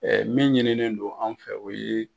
min ɲininen don an fɛ o ye.